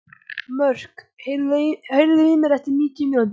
Mörk, heyrðu í mér eftir níutíu mínútur.